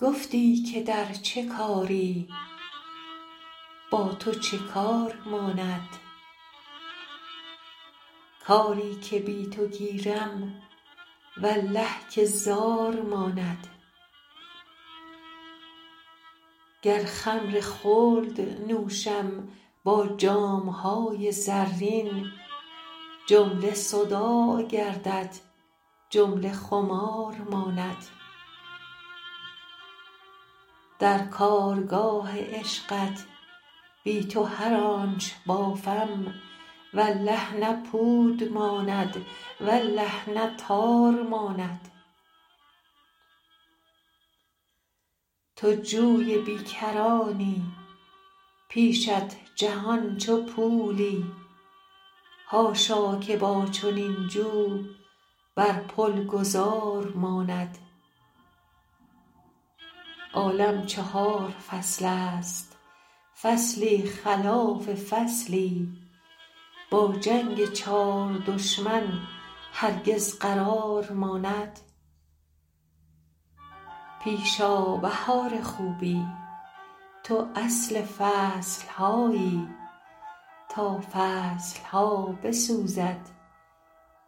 گفتی که در چه کاری با تو چه کار ماند کاری که بی تو گیرم والله که زار ماند گر خمر خلد نوشم با جام های زرین جمله صداع گردد جمله خمار ماند در کارگاه عشقت بی تو هر آنچ بافم والله نه پود ماند والله نه تار ماند تو جوی بی کرانی پیشت جهان چو پولی حاشا که با چنین جو بر پل گذار ماند عالم چهار فصلست فصلی خلاف فصلی با جنگ چار دشمن هرگز قرار ماند پیش آ بهار خوبی تو اصل فصل هایی تا فصل ها بسوزد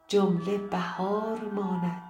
جمله بهار ماند